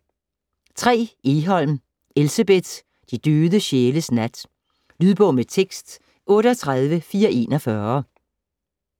Egholm, Elsebeth: De døde sjæles nat Lydbog med tekst 38441